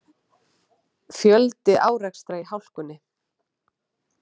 Fjöldi árekstra í hálkunni